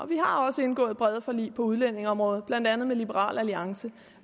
vi har også indgået brede forlig på udlændingeområdet blandt andet med liberal alliance